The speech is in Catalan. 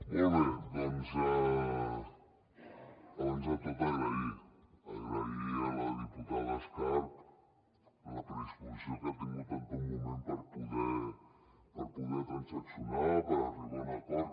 molt bé doncs abans de tot agrair a la diputada escarp la predisposició que ha tingut en tot moment per poder transaccionar per arribar a un acord